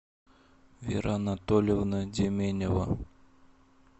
вера анатольевна деменева